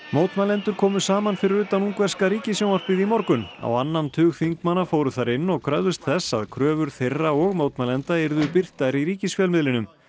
mótmælendur komu saman fyrir utan ungverska ríkissjónvarpið í morgun á annan tug þingmanna fóru þar inn og kröfðust þess að kröfur þeirra og mótmælenda yrðu birtar í ríkisfjölmiðlinum